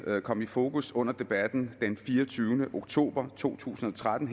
kom i fokus under debatten den fireogtyvende oktober to tusind og tretten